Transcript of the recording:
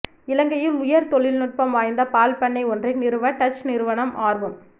இலங்கையில் உயர் தொழில்நுட்பம் வாய்ந்த பால் பண்ணை ஒன்றை நிறுவ டச் நிறுவனம் ஆர்வம்